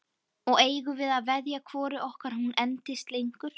Og eigum við að veðja hvoru okkar hún endist lengur?